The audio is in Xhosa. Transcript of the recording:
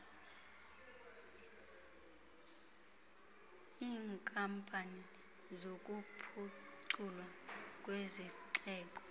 iinkampani zokuphuculwa kwezixeko